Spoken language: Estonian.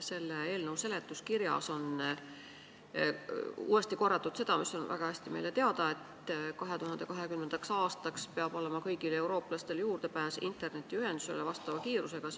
Selle eelnõu seletuskirjas on uuesti korratud seda, mis on meile väga hästi teada, et 2020. aastaks peab kõigil eurooplastel olema juurdepääs vastava kiirusega internetiühendusele.